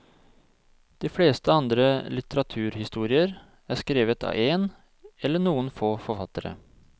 De fleste andre litteraturhistorier er skrevet av én eller noen få forfattere.